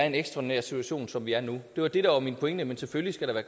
en ekstraordinær situation som vi er i nu det var det der var min pointe men selvfølgelig skal der